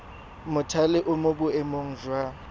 mothale o mo boemong jwa